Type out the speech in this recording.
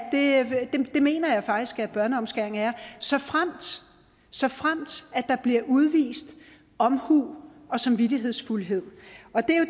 det mener jeg faktisk at børneomskæring er såfremt såfremt der bliver udvist omhu og samvittighedsfuldhed